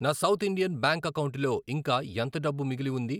నా South Indian Bank అకౌంటులో ఇంకా ఎంత డబ్బు మిగిలి ఉంది?